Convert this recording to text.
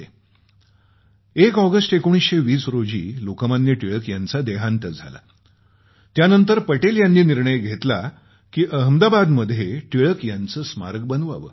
1 August 1920 रोजी लोकमान्य टिळक यांचा देहांत झाला त्यानंतर पटेल यांनी निर्णय घेतला की अहमदाबादमध्ये टिळक यांचं स्मारक बनवावं